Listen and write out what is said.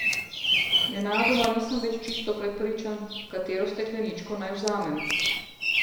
Nenadoma nisem več čisto prepričan, katero stekleničko naj vzamem.